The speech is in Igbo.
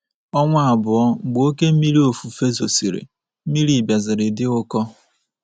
Ọnwa abụọ mgbe oke mmiri ofufe zosịrị, mmiri bịaziri di ụkọ.